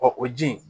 o ji in